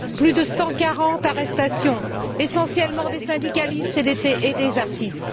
Plus de 140 arrestations, essentiellement des syndicalistes et des artistes.